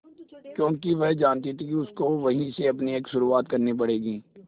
क्योंकि वह जानती थी कि उसको वहीं से अपनी एक शुरुआत करनी पड़ेगी